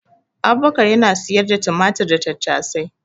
Abubakar yana siyar da tumatir da tattasai